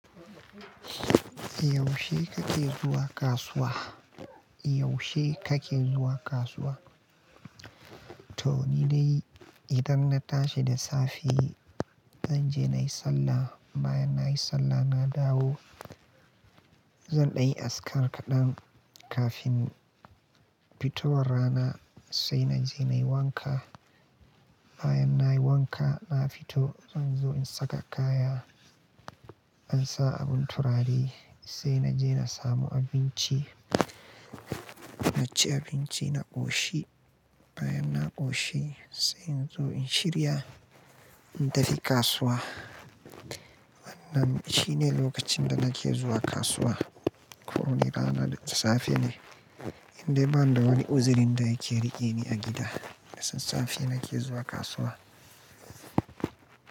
Yaushe kake zuwa kasuwa? Yaushe kake zuwa kasuwa? To nidai idan na tashi da safe zan je na yi sallah. Bayan na yi sallah na dawo, zan ɗanyi azkar kaɗan kafin fito war rana sai na je na yi wanka. Bayan na yi wanka na fito zan zo in saka kaya. Zansa abun turare sai na je na samu abinci. Na ci abinci na ƙoshi. Bayan na ƙoshi sai in zo in shirya in tafi kasuwa. Wannan shine lokacin da nake zuwa kasuwa. Kowani rana da safe ne. Indai bani da wani uzirin da yake riƙe ni a gida, da sassafe nake zuwa kasuwa.